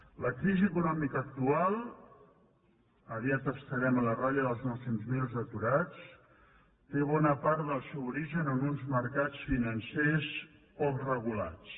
la crisi econòmica actual aviat estarem a la ratlla dels nou cents miler aturats té bona part del seu origen en uns mercats financers poc regulats